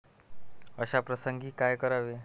अशा प्रसंगी काय करावे?